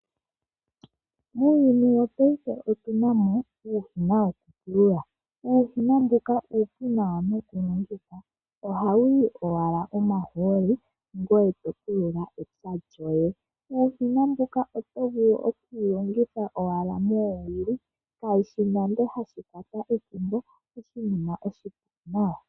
Muuyuni wopaife otuna mo uushina wokupula. Uushina mbuka ohawu yi owala omahooli ngoye to pulula epya lyoye. Uushina mbuno oto vulu owala oku walongitha moowili ihawu kwata ethimbo oshinima oshipu nawa.